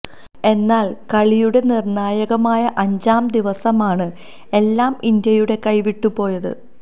എന്നാൽ കളിയുടെ നിർണായകമായ അഞ്ചാം ദിവസമാണ് എല്ലാം ഇന്ത്യയുടെ കൈവിട്ടു പോയത്